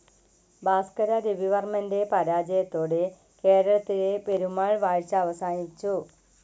ഭാസ്‌കര രവിവർമ്മൻ്റെ പരാജയത്തോടെ കേരളത്തിലെ പെരുമാൾ വാഴ്ച അവസാനിച്ചു.